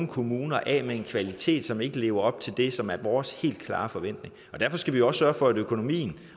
kommune af med en kvalitet som ikke lever op til det som er vores helt klare forventning derfor skal vi også sørge for at økonomien